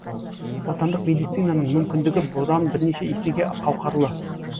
отандық медицинаның мүмкіндігі бұдан бірнеше есеге қауқарлы